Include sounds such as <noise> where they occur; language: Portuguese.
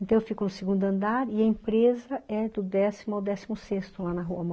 Então, eu fico no segundo andar e a empresa é do décimo ao décimo sexto, lá na Rua <unintelligible>